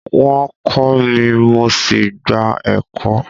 Wọn kọ mí, mo sí gbà ẹ̀kọ.